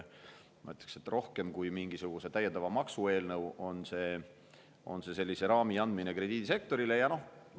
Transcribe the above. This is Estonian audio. Ma ütleksin, et rohkem kui mingisuguse täiendava maksu eelnõu on see krediidisektorile raami andmise eelnõu.